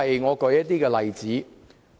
我舉一些例子。